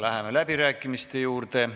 Läheme läbirääkimiste juurde.